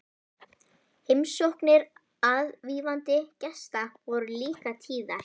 Heimsóknir aðvífandi gesta voru líka tíðar.